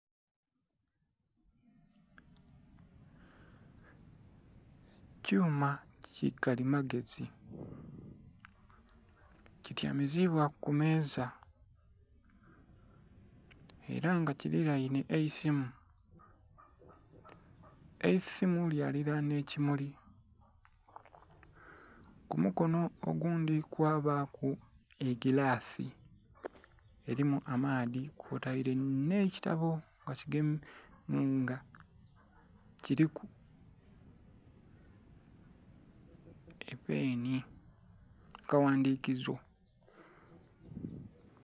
Ekyuma kikali magezi kityaimizibwa kumeza era nga kili lainhe eisimu, eisimu lya lilanha ekimuli kumukono ogundhi kwabaku egilasi elimu amaadhi kwoteile nhe kitabo nga kuliku epeni akagha ndhikizo.